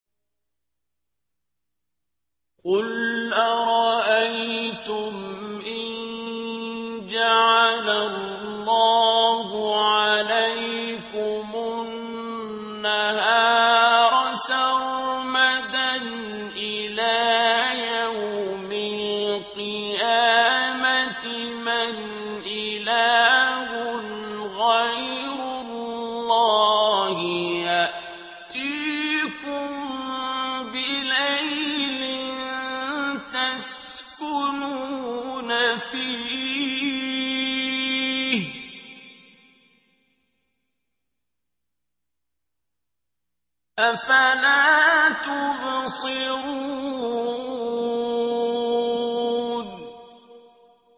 قُلْ أَرَأَيْتُمْ إِن جَعَلَ اللَّهُ عَلَيْكُمُ النَّهَارَ سَرْمَدًا إِلَىٰ يَوْمِ الْقِيَامَةِ مَنْ إِلَٰهٌ غَيْرُ اللَّهِ يَأْتِيكُم بِلَيْلٍ تَسْكُنُونَ فِيهِ ۖ أَفَلَا تُبْصِرُونَ